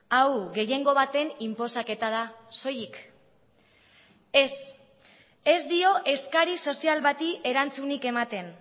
hau gehiengo baten inposaketa da soilik ez ez dio eskari sozial bati erantzunik ematen